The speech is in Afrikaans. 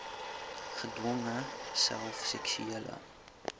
gedwonge self seksuele